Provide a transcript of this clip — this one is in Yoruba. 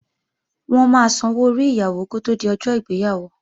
Wọ́n máa sanwó orí Ìyàwó kó tí di ọjọ́ ìgbéyàwó